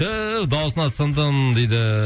түү дауысына сындым дейді